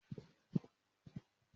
Máa lọ kàwé ni ìsòrí ẹka ẹ̀kọ́ anátómì.